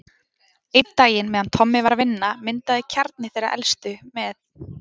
Einn daginn meðan Tommi var að vinna, myndaði kjarni þeirra elstu, með